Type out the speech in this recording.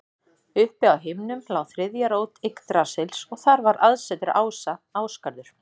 Uppi á himnum lá þriðja rót Yggdrasils og þar var aðsetur ása, Ásgarður.